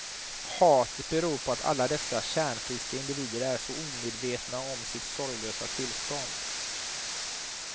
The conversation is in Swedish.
Hatet beror på att alla dessa kärnfriska individer är så omedvetna om sitt sorglösa tillstånd.